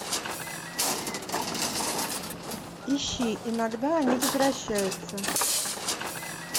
ищи иногда они возвращаются